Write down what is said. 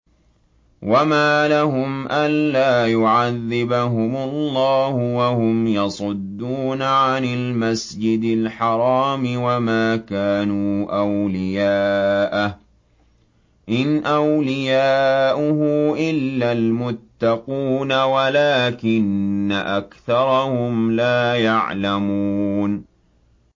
وَمَا لَهُمْ أَلَّا يُعَذِّبَهُمُ اللَّهُ وَهُمْ يَصُدُّونَ عَنِ الْمَسْجِدِ الْحَرَامِ وَمَا كَانُوا أَوْلِيَاءَهُ ۚ إِنْ أَوْلِيَاؤُهُ إِلَّا الْمُتَّقُونَ وَلَٰكِنَّ أَكْثَرَهُمْ لَا يَعْلَمُونَ